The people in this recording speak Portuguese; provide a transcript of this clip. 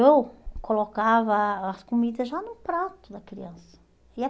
Eu colocava as comidas já no prato da criança. E é